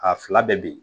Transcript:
A fila bɛɛ bi